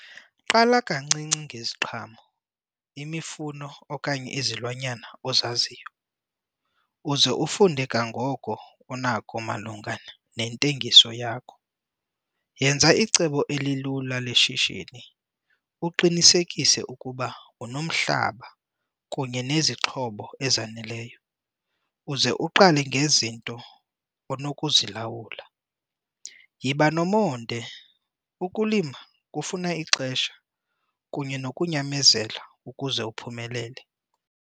Qala kancinci ngeziqhamo, imifuno, okanye izilwanyana ozaziyo uze ufunde kangangoko unako malunga nentengiso yakho. Yenza icebo elilula leshishini uqinisekise ukuba unomhlaba kunye nezixhobo ezaneleyo uze uqale ngezinto onokuzilawula. Yiba nomonde, ukulima kufuna ixesha kunye nokunyamezela ukuze uphumelele.